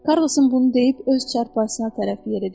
Karrlsın bunu deyib öz çarpayısına tərəf yeridi.